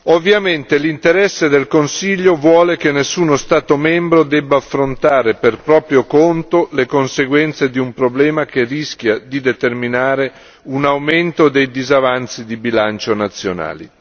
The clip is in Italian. Ovviamente l'interesse del Consiglio vuole che nessuno Stato membro debba affrontare per proprio conto le conseguenze di un problema che rischia di determinare un aumento dei disavanzi di bilancio nazionali.